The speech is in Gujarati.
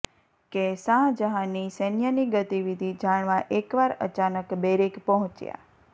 કે શાહજહાંની સૈન્યની ગતિવિધિ જાણવા એકવાર અચાનક બેરેક પહોંચ્યા